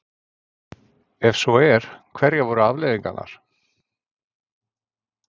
Ef svo er, hverjar voru afleiðingarnar?